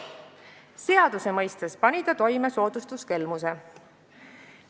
Seaduse mõistes pani ta toime soodustuskelmuse.